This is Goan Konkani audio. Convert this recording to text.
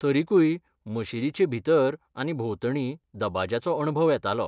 तरीकूय मशीदीचे भितर आनी भोंवतणी दबाज्याचो अणभव येतालो.